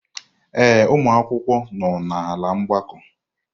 Ee, ụmụ akwụkwọ nọ n'ala mgbakọ.